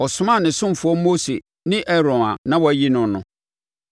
Ɔsomaa ne ɔsomfoɔ Mose, ne Aaron a na wayi noɔ no.